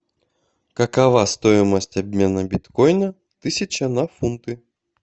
какова стоимость обмена биткоина тысяча на фунты